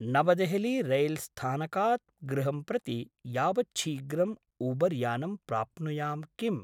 नवदेहलीरैल्स्थानकात् गृहं प्रति यावच्छीघ्रम् ऊबर्यानं प्राप्नुयां किम्?